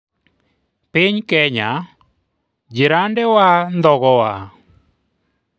piny Kenya : jirane wa ndhogowa